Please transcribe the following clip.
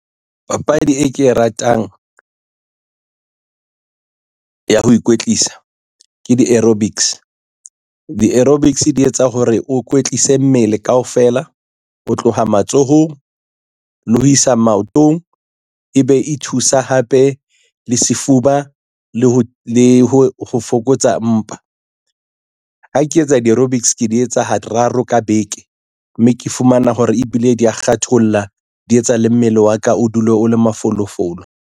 Papadi e ke e ratang ya ho ikwetlisa ke di-aerobics. Di-aerobics di etsa hore o ikwetlise mmele kaofela o tloha matsohong le ho isa maotong ebe e thusa hape le sefuba le ho fokotsa mpa ha ke etsa di-aerobics ke di etsa hararo ka beke mme ke fumana hore ebile di ya kgatholla di etsa le mmele wa ka o dule o le mafolofolo.